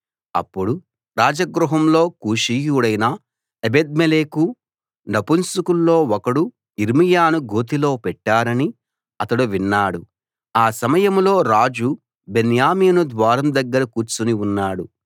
అప్పుడు రాజగృహంలో కూషీయుడైన ఎబెద్మెలెకు నపుంసకుల్లో ఒకడు యిర్మీయాను గోతిలో పెట్టారని అతడు విన్నాడు ఆ సమయంలో రాజు బెన్యామీను ద్వారం దగ్గర కూర్చుని ఉన్నాడు